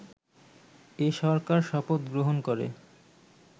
এ সরকার শপথ গ্রহণ করে